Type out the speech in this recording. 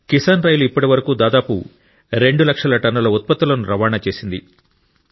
Kisan rail ఇప్పటివరకు దాదాపు 2 లక్షల టన్నుల ఉత్పత్తులను రవాణా చేసింది